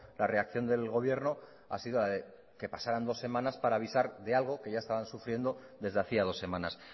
la reacción del gobierno ha sido que pasaran dos semanas para avisar de algo que ya estaban sufriendo desde hacía dos semanas